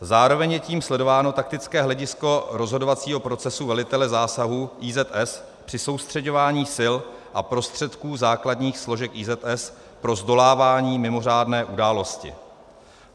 Zároveň je tím sledováno taktické hledisko rozhodovacího procesu velitele zásahu IZS při soustřeďování sil a prostředků základních složek IZS pro zdolávání mimořádné události.